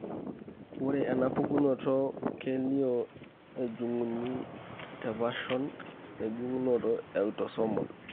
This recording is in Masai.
Ore enapukunoto keilio ejung'uni tepashon enjung'oto eautosomal.